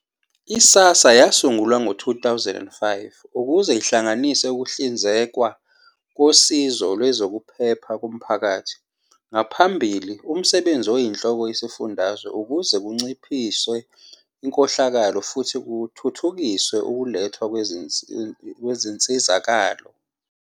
I-SASSA yasungulwa ngo-2005 ukuze ihlanganise ukuhlinzekwa kosizo lwezokuphepha komphakathi, ngaphambili umsebenzi oyinhloko isifundazwe, ukuze kuncishiswe inkohlakalo futhi kuthuthukiswe ukulethwa kwezinsizakalo.